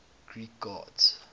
greek gods